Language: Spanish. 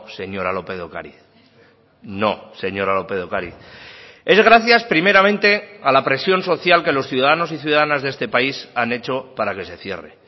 señora lópez de ocariz no señora lópez de ocariz es gracias primeramente a la presión social que los ciudadanos y ciudadanas de este país han hecho para que se cierre